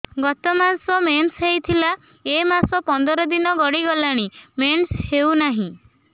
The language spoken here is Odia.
ଗତ ମାସ ମେନ୍ସ ହେଇଥିଲା ଏ ମାସ ପନ୍ଦର ଦିନ ଗଡିଗଲାଣି ମେନ୍ସ ହେଉନାହିଁ